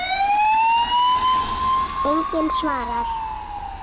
Enginn svarar.